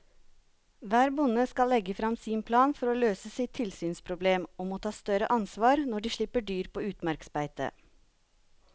Hver bonde skal legge frem sin plan for å løse sitt tilsynsproblem og må ta større ansvar når de slipper dyr på utmarksbeite.